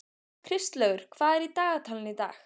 Kristlaugur, hvað er í dagatalinu í dag?